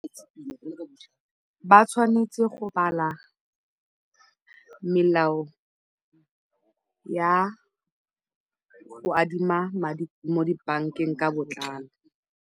Ba tshwanetse go bala melao ya go adima madi mo dibankeng ka botlalo.